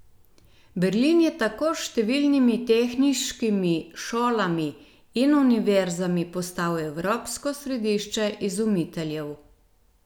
Berlin je tako s številnimi tehniškimi šolami in univerzami postal evropsko središče izumiteljev.